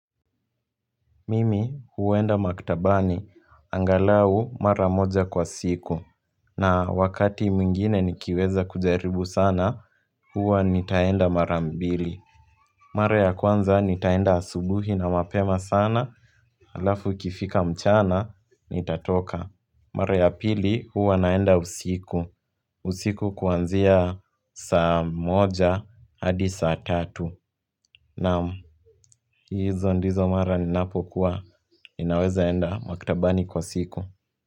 Mimi huenda maktabani, angalau mara moja kwa siku. Na wakati mwingine nikiweza kujaribu sana, huwa nitaenda mara mbili. Mara ya kwanza nitaenda asubuhi na mapema sana, halafu ikifika mchana, nitatoka. Mara ya pili huwa naenda usiku. Usiku kuanzia saa moja, hadi saa tatu. Naam. Hizo ndizo mara ninapokuwa ninaweza enda maktabani kwa siku.